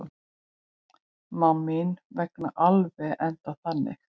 Má mín vegna alveg enda þannig.